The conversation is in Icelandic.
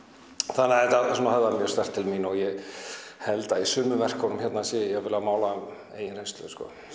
þannig að þetta höfðaði mjög sterkt til mín og ég held að í sumum verkunum hérna sé ég jafnvel að mála eigin reynslu